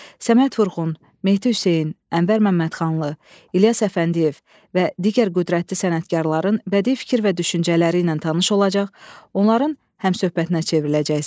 Səməd Vurğun, Mehdi Hüseyn, Ənvər Məmmədxanlı, İlyas Əfəndiyev və digər qüdrətli sənətkarların bədii fikir və düşüncələri ilə tanış olacaq, onların həmsöhbətinə çevriləcəksiniz.